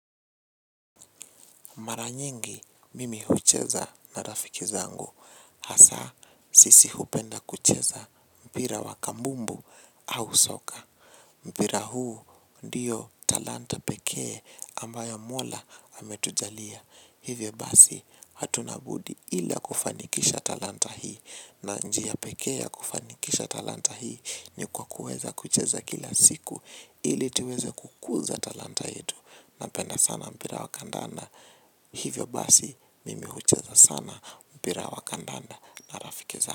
Mara nyingi mimi hucheza na rafiki zangu. Hasa, sisi hupenda kucheza mpira wa kambumbu au soka. Mpira huu, ndiyo talanta pekee ambayo mola ametujalia. Hivyo basi, hatuna budi ila kufanikisha talanta hii. Na njia pekee ya kufanikisha talanta hii, ni kwa kuweza kucheza kila siku, ili tuweze kukuza talanta yetu. Napenda sana mpira wa kandanda. Hivyo basi mimi hucheza sana mpira wa kandanda na rafiki zangu.